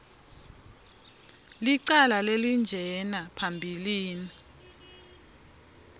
licala lelinjena phambilini